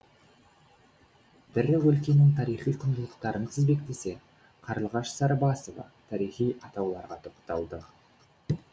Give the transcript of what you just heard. бірі өлкенің тарихи құндылықтарын тізбектесе қарлығаш сарыбасова тарихи атауларға тоқталды